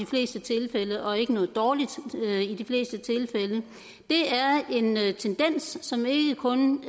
fleste tilfælde og ikke noget dårligt i de fleste tilfælde det er en tendens som ikke kun